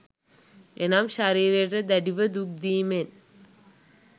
එනම් ශරීරයට දැඩිව දුක් දීමෙන්